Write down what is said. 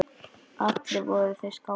Allir voru þeir skátar.